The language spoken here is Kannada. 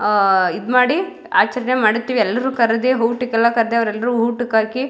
ಆಹ್ಹ್ ಇದ್ ಮಾಡಿ ಆಚರಣೆ ಮಾಡುತ್ತೀವಿ ಎಲ್ಲರು ಕರೆದೆ ಊಟಕೆಲ್ಲ ಕರ್ದೆ ಅವರೆಲ್ಲರೂ ಊಟಕ್ ಹಾಕಿ --